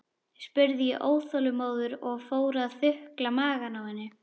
spurði ég óþolinmóður og fór að þukla magann á henni.